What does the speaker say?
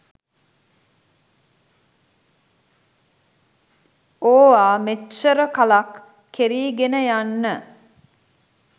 ඕවා මෙච්චර කලක් කෙරීගෙන යන්න